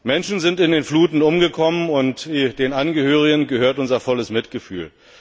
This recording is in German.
Menschen sind in den Fluten umgekommen, und den Angehörigen gehört unser volles Mitgefühl!